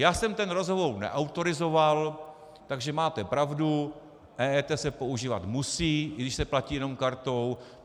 Já jsem ten rozhovor neautorizoval, takže máte pravdu, EET se používat musí, i když se platí jenom kartou.